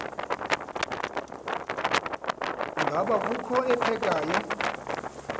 ngaba kukho ophekayo